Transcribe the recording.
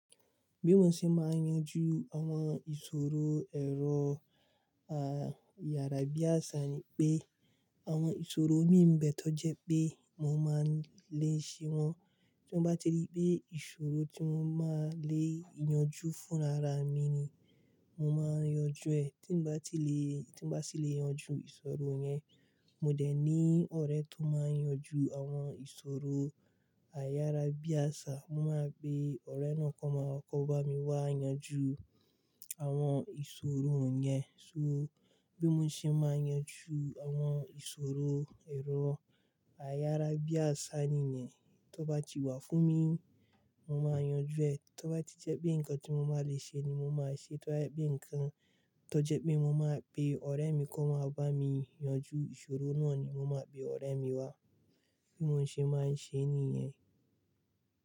Bí mo ṣe máa yanjú àwọn ìṣòro ẹ̀rọ, àyàrá bí àṣá ni pé àwọn ìṣòro mí ń bẹ̀e tọ́ jẹ́ pé mo máa ń lè ṣe wọ́n. Tí mo bá ti rí pé ìṣòro tí mo máa lè yanjú fúnra ra mi ni, mo máa yanjú ẹ̀. Tí n bá ti lè tí n bá sì lè yanjú ìṣòro yẹn mo dẹ̀ ní ọ̀rẹ́ tó máa ń yanjú àwọn ìṣòro àyàrábíàṣá, mo máa pe ọ̀rẹ́ náà kó ma kó bá mi wá yanjú àwọn ìṣòro yẹn. So bí mo ṣe máa yanjú àwọn ìṣòro ẹ̀rọ àyàrá bí àṣá nìyẹn. Tó bá ti wà fún mi, mo máa yanjú ẹ̀. Tó bá ti jẹ́ pé nǹkan tí mo máa lè ṣe ni mo máa ṣe. Tó bá jẹ́ pé nǹkan tó jẹ́ pé mo máa pe ọ̀rẹ́ mi kó wáa bá mi yanjú ìṣòro náà ni mo máa pe ọ̀rẹ́ mi wá. Bí mo ṣe máa ń ṣe nìyẹn.